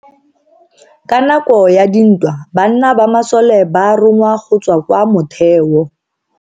Ka nako ya dintwa banna ba masole ba rongwa go tswa kwa motheo.